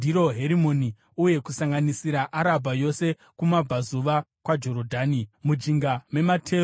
uye kusanganisira Arabha yose kumabvazuva kwaJorodhani, kusvikira kuGungwa reArabha, mujinga memateru ePisiga.